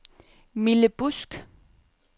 Mille Busk